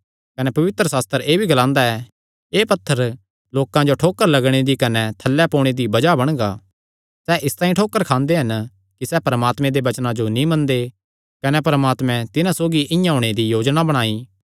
कने पवित्रशास्त्र एह़ भी ग्लांदा ऐ एह़ पत्थर लोकां जो ठोकर लगणे दी कने थल्लै पोणे दी बज़ाह बणगा सैह़ इसतांई ठोकर खांदे हन कि सैह़ परमात्मे दे वचनां जो नीं मनदे कने परमात्मे तिन्हां सौगी इआं होणे दी योजना बणाई